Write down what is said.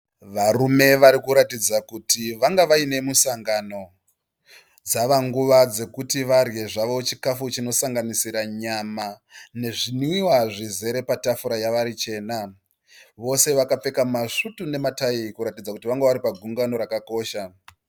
Varume vari kuratidza kuti vanga vaine musangano. Dzava nguva dzekuti vadye zvavo chikafu chinosanganisira nyama nezvinwiwa zvizere patafura yavari chena. Vese vakapfeka masvutu nematayi kuratidza kuti vanga vari pa gungano rakakosha.